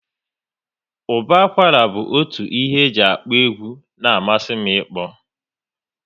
Ụba akwara bụ otu ihe e ji akụ egwu na amasị m ikpo